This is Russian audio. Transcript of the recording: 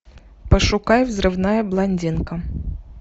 пошукай взрывная блондинка